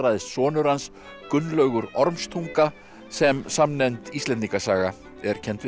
sonur hans Gunnlaugur Ormstunga sem samnefnd Íslendingasaga er kennd við